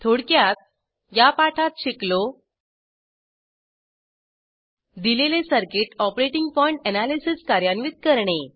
थोडक्यात या पाठात शिकलो दिलेले सर्किट ऑपरेटिंग पॉइंट एनालिसिस कार्यान्वित करणे